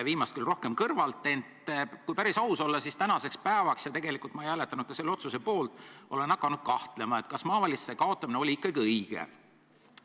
Viimast küll rohkem kõrvalt, ent kui päris aus olla, siis tänaseks päevaks – ja tegelikult ma ei hääletanud ka selle otsuse poolt – olen hakanud kahtlema, kas maavalitsuste kaotamine oli ikkagi õige.